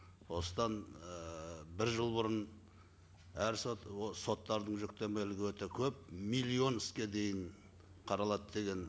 осыдан ііі бір жыл бұрын әр сот соттардың жүктемелігі өте көп миллион іске дейін қаралады деген